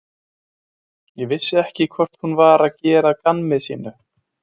Ég vissi ekki hvort hún var að gera að gamni sínu.